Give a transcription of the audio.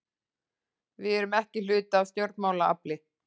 Við erum ekki hluti af stjórnmálaafli